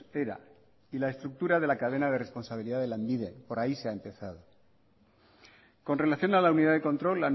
era y la estructura de la cadena de responsabilidad de lanbide por ahí se ha empezado con relación a la unidad de control